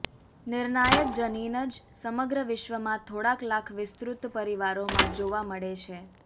નિર્ણાયક જનીન જ સમગ્ર વિશ્વમાં થોડાક લાખ વિસ્તૃત પરિવારોમાં જોવા મળે છે